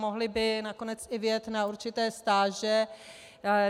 Mohli by nakonec i vyjet na určité stáže.